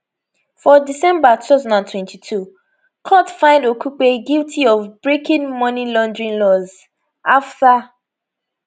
for december 2022 court find okupe guilty of breaking money laundering laws afta